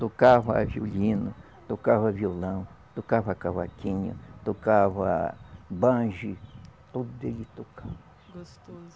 Tocava violino, tocava violão, tocava cavaquinho, tocava banjo, tudo ele tocava. Gostoso